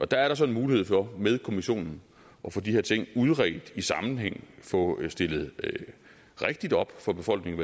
der er der så en mulighed for med kommissionen at få de her ting udredt i sammenhæng få stillet rigtigt op for befolkningen